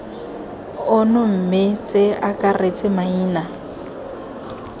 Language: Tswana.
ono mme ce akaretse maina